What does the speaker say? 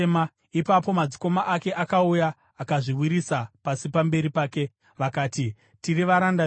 Ipapo madzikoma ake akauya akazviwisira pasi pamberi pake. Vakati, “Tiri varanda venyu.”